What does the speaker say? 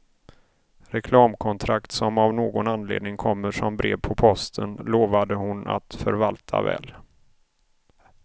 Reklamkontrakt som av någon anledning kommer som brev på posten lovade hon att förvalta väl.